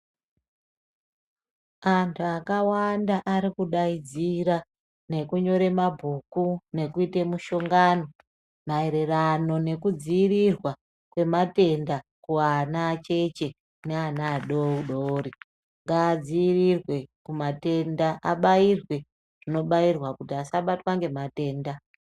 Antu akawanda arikudaidzira nekunyore mabhuku nekuita muhlongano maererano nekudziirirwa kwematenda kuana acheche neana adodori ngaadziirirwe kumatenda abairwe zvinobairwa kuti asabatwa ngematenda.